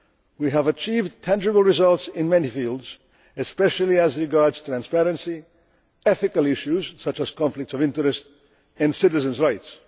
We have achieved tangible results in many fields especially as regards transparency, ethical issues such as conflicts of interest and citizens' rights.